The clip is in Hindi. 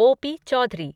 ओ पी चौधरी